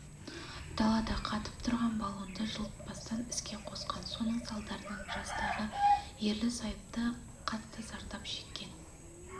далада қатып тұрған баллонды жылытпастан іске қосқан соның салдарынан жастағы ерлі зайыпты қатты зардап шеккен